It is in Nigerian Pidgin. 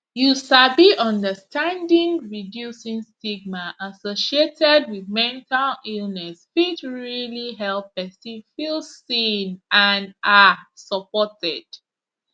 you sabi understanding reducing stigma associated wit mental illness fit realli help pesin feel seen and ah supported